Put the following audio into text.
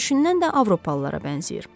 Görünüşündən də avropalılara bənzəyir.